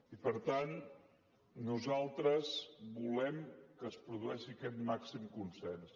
i per tant nosaltres volem que es produeixi aquest màxim consens